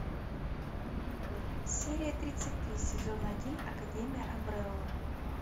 серия тридцать три сезон один академия амбрелла